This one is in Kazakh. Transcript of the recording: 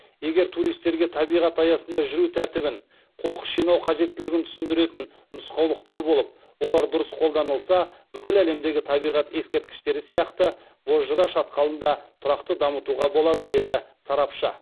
егер туристерге табиғат аясында жүру тәртібін қоқыс жинау қажеттілігін түсіндіретін нұсқаулықтар болып олар дұрыс қолданылса бүкіл әлемдегі табиғат ескерткіштері сияқты бозжыра шатқалын да тұрақты дамытуға болады деді сарапшы